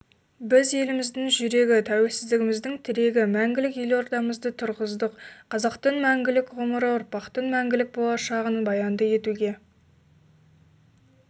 біз еліміздің жүрегі тәуелсіздігіміздің тірегі мәңгілік елордамызды тұрғыздық қазақтың мәңгілік ғұмыры ұрпақтың мәңгілік болашағын баянды етуге